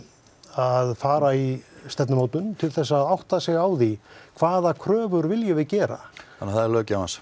að fara í stefnumótun til þess að átta sig á því hvaða kröfur viljum við gera þannig það er löggjafans